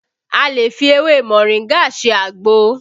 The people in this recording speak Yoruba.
A lè fi ewé moringa ṣe àgbo